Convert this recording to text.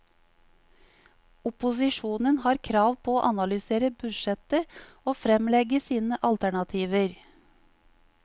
Opposisjonen har krav på å analysere budsjettet og fremlegge sine alternativer.